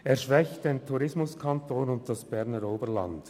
Die Streichung schwächt den Tourismuskanton und das Berner Oberland.